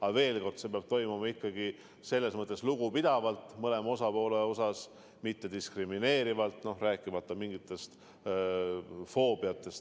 Aga veel kord, see peab toimuma lugupidavalt mõlema osapoole suhtes, mitte diskrimineerivalt, rääkimata mingitest foobiatest.